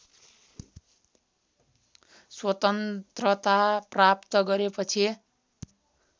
स्वतन्त्रता प्राप्त गरेपछि